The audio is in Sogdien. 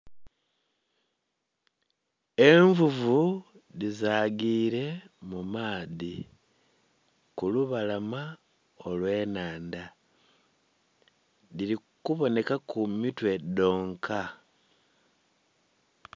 Envuvu dhizagire mumaadhi kulubalama olwennhandha dhiri kubonheka mitwe dhonka.